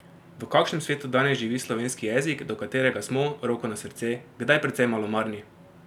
V kakšnem svetu danes živi slovenski jezik, do katerega smo, roko na srce, kdaj precej malomarni?